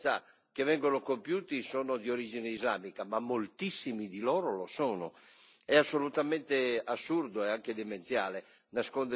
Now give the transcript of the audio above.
predicano antisemitismo, forse non tutti gli atti di violenza che vengono compiuti sono di origine islamica, ma moltissimi di essi lo sono.